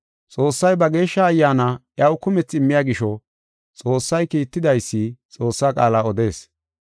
Xoossay ba geeshsha Ayyaana iyaw kumethi immiya gisho Xoossay kiittidaysi Xoossaa qaala odees.